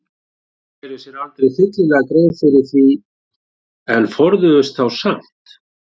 Sumir gerðu sér aldrei fyllilega grein fyrir því en forðuðust þá samt.